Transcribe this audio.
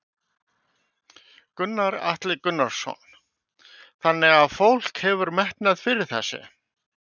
Gunnar Atli Gunnarsson: Þannig að fólk hefur metnað fyrir þessu?